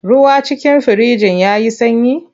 Ruwan cikin firijin ya yi sanyi?